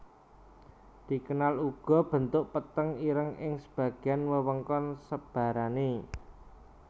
Dikenal uga bentuk peteng ireng ing sebagian wewengkon sebarane